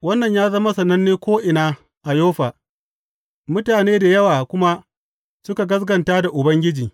Wannan ya zama sananne ko’ina a Yoffa, mutane da yawa kuma suka gaskata da Ubangiji.